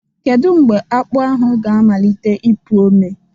Kedu mgbe akpu ahụ ga-amalite ịpụ ome?